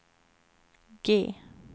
G